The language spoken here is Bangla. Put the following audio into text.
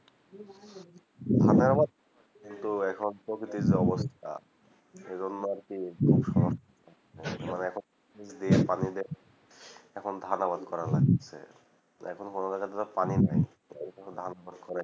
ধানের আবাদ তো এখন প্রকৃতির যা অবস্থাথাও সে জন্য আর কি এ বছর মানে এখন পানি এখন আবাদ করা লাগছে এখন পানি নাই এই জন্যযে ধান